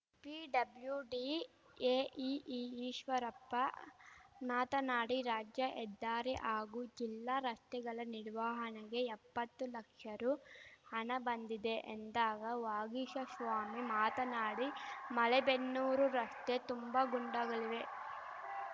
PWD AEE Eshwarappa ಮಾತನಾಡಿ ರಾಜ್ಯ ಹೆದ್ದಾರಿ ಹಾಗೂ ಜಿಲ್ಲಾ ರಸ್ತೆಗಳ ನಿರ್ವಹಣೆಗೆ ಎಪ್ಪತ್ತು ಲಕ್ಷ ರು ಹಣ ಬಂದಿದೆ ಎಂದಾಗ ವಾಗೀಶಶ್ವಾಮಿ ಮಾತನಾಡಿ ಮಲೆಬೆನ್ನೂರು ರಸ್ತೆ ತುಂಬ ಗುಂಡಗಳಿವೆ